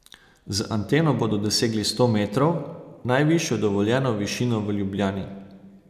Z anteno bodo dosegli sto metrov, najvišjo dovoljeno višino v Ljubljani.